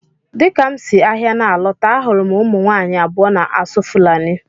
Dịka m si ahịa na-alọta, ahụrụ m ụmụ nwaanyị abụọ na-asụ Fulani.